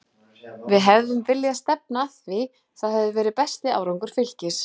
Við hefðum viljað stefna að því, það hefði verið besti árangur Fylkis.